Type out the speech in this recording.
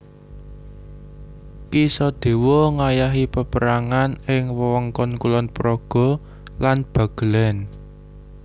Ki Sodewo ngayahi paperangan ing wewengkon Kulon Progo lan Bagelen